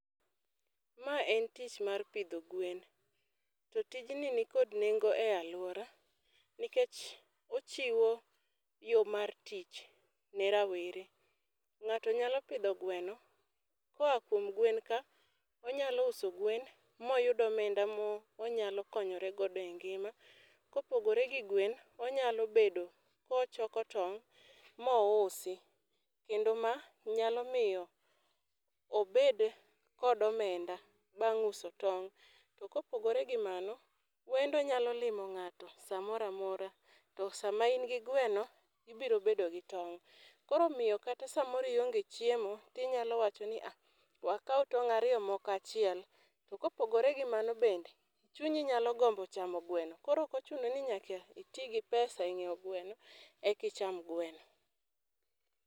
Ma en tich mar pidho gwen, to tijni ni kod nengo e aluora nikech ochiwo yo mar tich ne rawere.Ng'ato yalo pidho gweno ka oa kuom gwen ka onyalo uso gwen ma oyud omenda ma onyalo konyore godo e ngima.ka opogore gi gwen onyalo bedo ko ochoko tong' ma ousi kendo ma nyalo miyo obed kod omenda bang' uso tong. Ka opogore gi mano wendo nyalo limo ng'ato sa moo amora to sa ma in gi gweno ibiro bedo gi tong koro omiyo kata sa moro ionge chiemo to inya wacho ni ya, we akaw tong' ariyo moko achiel. To ko opogore gi mano bende , chunyi nyalo gombo chamo gweno koro ok ochuno ni nyaka iti gi pesa e ngeiwo gweno eka icham gweno.